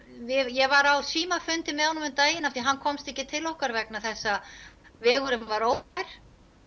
ég var á símafundi með honum um daginn af því að hann komst ekki til okkar vegna þess að vegurinn var ófær